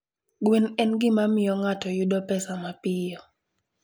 Gwen en gima miyo ng'ato yudo pesa mapiyo.